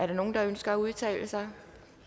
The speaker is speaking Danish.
nogen der ønsker at udtale sig